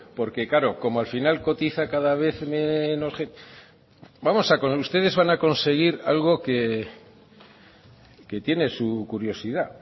porque claro como al final cotiza cada vez menos gente ustedes van a conseguir algo que tiene su curiosidad